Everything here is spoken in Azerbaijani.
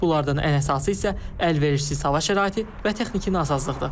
Bunlardan ən əsası isə əlverişsiz hava şəraiti və texniki nasazlıqdır.